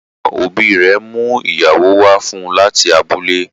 Àwọn òbí rè mú ìyàwó wá fún láti abúlẹ̀.